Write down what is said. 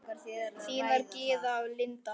Þínar Gyða og Linda.